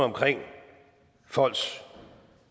om folks